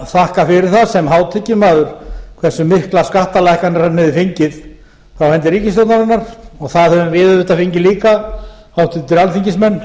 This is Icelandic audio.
þakka fyrir það sem hátekjumaður hversu miklar skattalækkanir hann hefði fengið af hendi ríkisstjórnarinnar og það höfum við auðvitað fengið líka háttvirtir alþingismenn